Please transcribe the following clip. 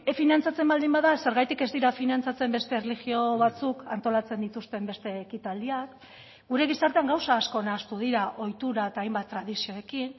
finantzatzen baldin bada zergatik ez dira finantzatzen beste erlijio batzuk antolatzen dituzten beste ekitaldiak gure gizartean gauza asko nahastu dira ohitura eta hainbat tradizioekin